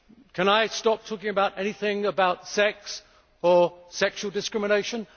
Can I stop talking about anything about sex or sexual discrimination?